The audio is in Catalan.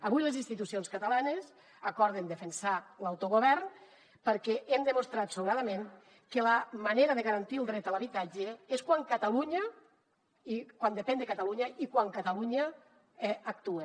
avui les institucions catalanes acorden defensar l’autogovern perquè hem demostrat sobradament que la manera de garantir el dret a l’habitatge és quan depèn de catalunya i quan catalunya actua